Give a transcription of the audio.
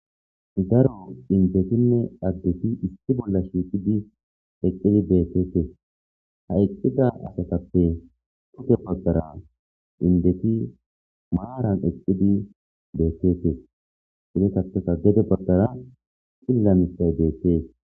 daro indetinne addeti isti bolla shiiqidi eqqidi beetete ha eqqida asatappe qute baggara indeti maaran eqidi beekete ide saasa gede baggara xillamissay deetees